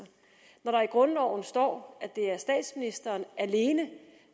når der i grundloven står at det er statsministeren alene